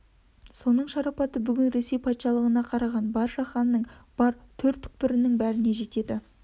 соның шарапаты бүгін ресей патшалығына қараған бар жаһанның бар төр-түкпірінің бәріне жетеді